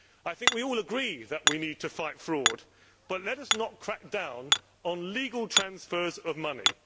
I think we all agree that we need to fight fraud, but let us not crack down on legal transfers of money.